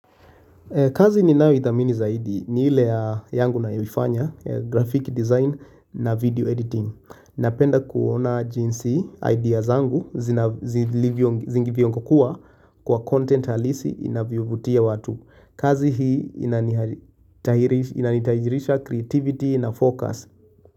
Kazi ninayoidhamini zaidi ni ile yangu nayoifanya ya graphic design na video editing. Napenda kuona jinsi idea zangu zilingivyokuwa kwa content halisi inavyovutia watu. Kazi hii inanitahirisha creativity na focus.